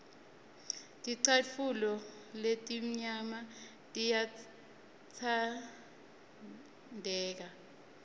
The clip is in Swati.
ticatfulo letimnyama tiyatsandleka